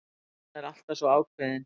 Hann er alltaf svo ákveðinn.